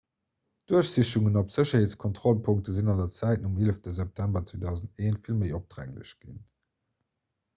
duerchsichungen op sécherheetskontrollpunkte sinn an der zäit nom 11 september 2001 vill méi opdrénglech ginn